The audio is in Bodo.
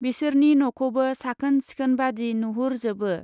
बिसोरनि न'खौबो साखोन सिखोनबादि नुहुरजोबो।